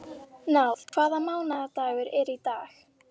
Náð, hvaða mánaðardagur er í dag?